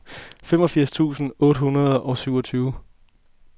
femogfirs tusind otte hundrede og syvogtyve